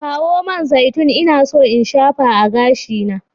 Kawo man zaitun, ina so in shafa a gashina.